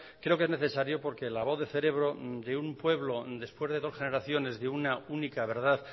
creo que es necesario porque la voz de cerebro de un pueblo después de dos generaciones de una única verdad